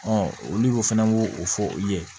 olu fana b'o o fɔ u ye